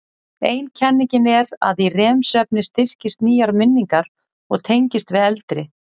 Ein kenningin er að í REM-svefni styrkist nýjar minningar og tengist við eldri.